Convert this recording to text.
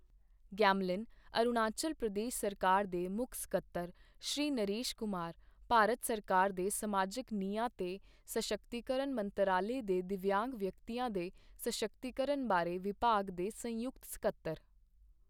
Gamlin, Arunachal Pradesh ਸਰਕਾਰ ਦੇ ਮੁੱਖ ਸਕੱਤਰ ਸ਼੍ਰੀ ਨਰੇਸ਼ ਕੁਮਾਰ, ਭਾਰਤ ਸਰਕਾਰ ਦੇ ਸਮਾਜਿਕ ਨਿਆਂ ਤੇ ਸਸ਼ੱਕਤੀਕਰਣ ਮੰਤਰਾਲੇ ਦੇ ਦਿਵਯਾਂਗ ਵਿਅਕਤੀਆਂ ਦੇ ਸਸ਼ੱਕਤੀਕਰਣ ਬਾਰੇ ਵਿਭਾਗ ਦੇ ਸੰਯੁਕਤ ਸਕੱਤਰ।